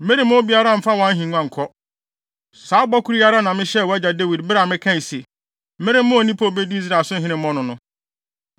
meremma obiara mfa wʼahengua nkɔ. Saa bɔ koro yi ara na mehyɛɛ wʼagya Dawid bere a mekaa se, ‘Meremma onipa a obedi Israel so hene mmɔ no no.’